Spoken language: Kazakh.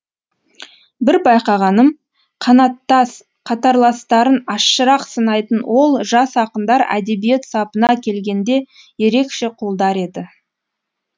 бір байқағаным қанаттас қатарластарын ащырақ сынайтын ол жас ақындар әдебиет сапына келгенде ерекше қолдар еді